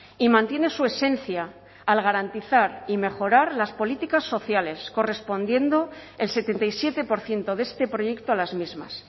y mantiene su esencia al garantizar y mejorar las políticas sociales correspondiendo el setenta y siete por ciento de este proyecto a las mismas